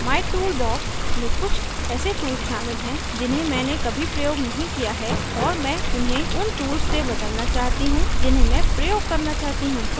my tool box में कुछ ऐसे tools शामिल हैं जिन्हें मैंने कभी प्रयोग नहीं किया है और my उन्हें उन tools से बदलना चाहती हूँ जिन्हें my प्रयोग करना चाहती हूँ